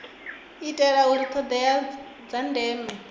itela uri thodea dza ndeme